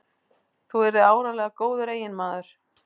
Þú yrðir áreiðanlega góður eiginmaður.